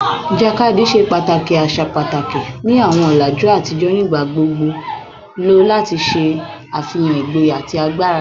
Ijakadi ṣe pataki asa pataki ni awọn ọlaju atijọ, nigbagbogbo lo lati ṣe afihan igboya ati agbara